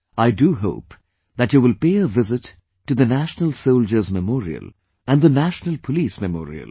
I do hope that you will pay a visit to the National Soldiers' Memorial and the National Police Memorial